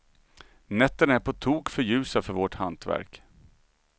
Nätterna är på tok för ljusa för vårt hantverk.